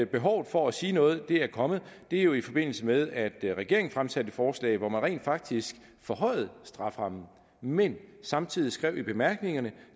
behovet for at sige noget er kommet er jo i forbindelse med at regeringen fremsatte et forslag hvor man rent faktisk forhøjede strafferammen men samtidig skrev i bemærkningerne